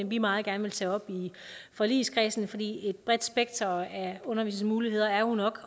vi meget gerne vil tage op i forligskredsen fordi et bredt spekter af undervisningsmuligheder jo nok